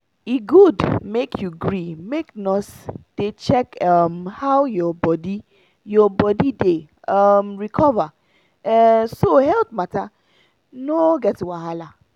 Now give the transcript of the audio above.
e good make you gree make nurse dey check um how your body [breathe] your body dey um recover um so health matter no get wahala.